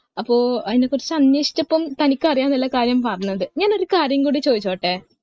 അപ്പൊ അതിനെ കുറിച്ച് അനേഷിച്ചപ്പോ തനിക്ക് അറിയാനുള്ള കാര്യം പറഞ്ഞത് ഞാൻ ഒരു കാര്യം കൂടി ചോയിച്ചോട്ടെ